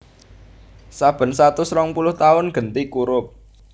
Saben satus rongpuluh taun genti kurup